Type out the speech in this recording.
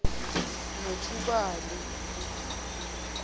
nothubali